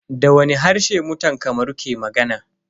Da wani harshe mutan Kamaru ke magana?